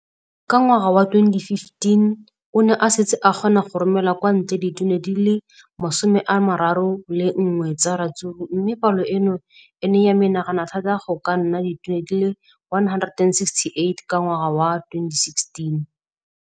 Ka ngwaga wa 2015, o ne a setse a kgona go romela kwa ntle ditone di le 31 tsa ratsuru mme palo eno e ne ya menagana thata go ka nna ditone di le 168 ka ngwaga wa 2016.